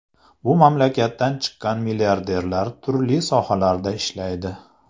Bu mamlakatdan chiqqan milliarderlar turli sohalarda ishlaydi.